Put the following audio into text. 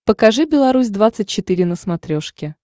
покажи беларусь двадцать четыре на смотрешке